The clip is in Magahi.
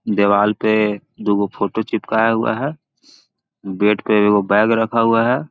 दीवाल पे दो गो फोटो चिपकाया हुआ है बेड पे एक गो बैग रखा हुआ हैI